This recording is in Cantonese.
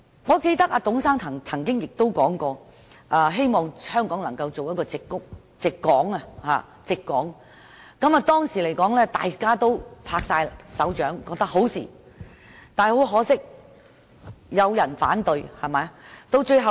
我記得董先生曾經說過，希望香港能發展成為"矽港"，當時大家都拍爛手掌，但可惜亦有人反對。